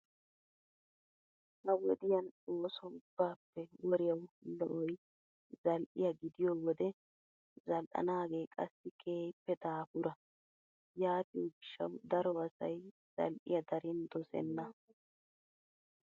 Ha wodiyan ooso ubbaappe woriyawu lo"oyi zal"iyaa gidiyoo wode zal"anaagee qassi keehippe daapura. Yaatiyo gishshawu daro asayi zal"iyaa darin dosenna.